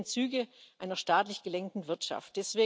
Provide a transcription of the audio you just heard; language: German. Wir sehen Züge einer staatlich gelenkten Wirtschaft.